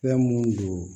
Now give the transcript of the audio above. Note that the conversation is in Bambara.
Fɛn mun don